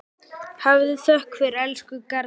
Hafðu þökk fyrir, elsku Garðar.